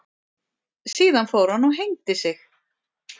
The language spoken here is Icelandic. Síðan fór hann og hengdi sig.